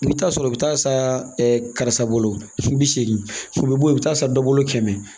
I bɛ taa sɔrɔ i bɛ taa sa bolo bi segin i bɛ bɔ yen i bɛ taa san dɔ bolo kɛmɛ